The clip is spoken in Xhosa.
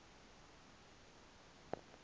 xa iphumayo le